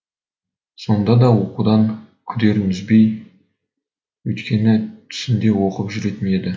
сонда да оқудан күдерін үзбеді өйткені түсінде оқып жүретін еді